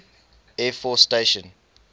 air force station